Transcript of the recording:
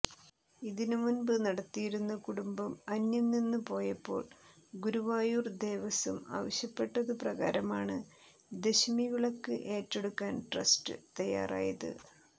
ഇത് മുമ്പ് നടത്തിയിരുന്ന കുടുംബം അന്യം നിന്നുപോയപ്പോൾ ഗുരുവായൂർ ദേവസ്വം ആവശ്യപ്പെട്ടതുപ്രകാരമാണ് ദശമിവിളക്ക് ഏറ്റെടുക്കാൻ ട്രസ്റ്റ് തയ്യാറായത്